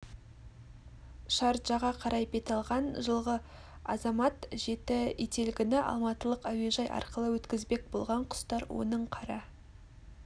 шарджаға қарай бет алған жылғы азамат жеті ителгіні алматылық әуежай арқылы өткізбек болған құстар оның қара